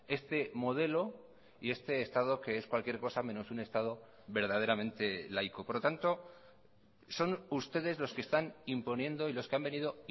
este modelo y este estado que es cualquier cosa menos un estado verdaderamente laico por lo tanto son ustedes los que están imponiendo y los que han venido